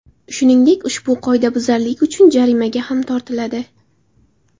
Shuningdek, ushbu qoidabuzarlik uchun jarimaga ham tortiladi.